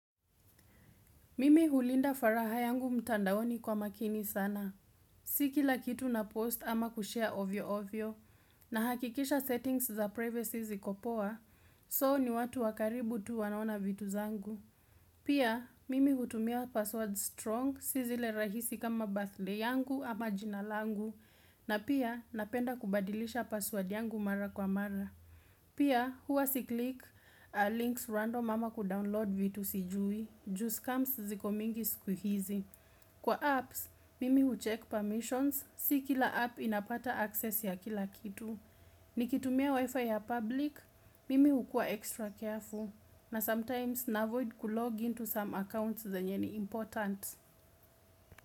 Mimi hulinda faraha yangu mtandaoni kwa makini sana. Si kila kitu napost ama kushare ovyo ovyo, nahakikisha settings za privacy ziko poa, soo ni watu wakaribu tu wanaona vitu zangu. Pia, mimi hutumia password strong, si zile rahisi kama birthlay yangu ama jinalangu, na pia napenda kubadilisha password yangu mara kwa mara. Pia, huwa siclick links random ama kudownload vitu sijui. Just scams ziko mingi siku hizi. Kwa apps, mimi ucheck permissions, si kila app inapata access ya kila kitu. Nikitumia wifi ya public, mimi hukua extra careful. Na sometimes, navoid kulogin to some accounts zenye ni important.